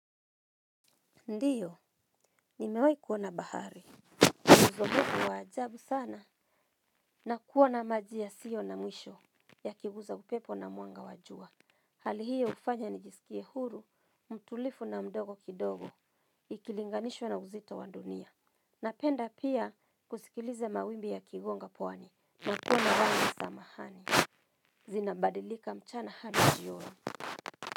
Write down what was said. Ndiyo, nimewahi kuona bahari. Muzo mufu wa ajabu sana. Na kuona maji yasio na mwisho ya kiguza upepo na mwanga wa jua. Hali hiyo hufanya ni jisikie huru, mtulivu na mdogo kidogo, ikilinganishwa na uzito wa dunia. Napenda pia kusikiliza mawimbi ya kigonga pwani, matuwa na ranga samahani. Zinabadilika mchana hadi jioni.